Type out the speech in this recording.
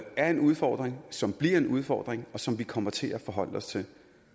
er en udfordring som bliver en udfordring og som vi kommer til at forholde os til